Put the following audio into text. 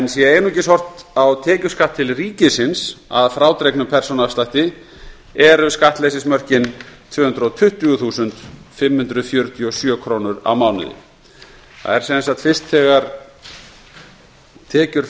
sé einungis horft á tekjuskatt til ríkisins að frádregnum persónuafslætti eru skattleysismörkin tvö hundruð tuttugu þúsund fimm hundruð fjörutíu og sjö krónur á mánuði það er sem sagt ekki fyrr en tekjur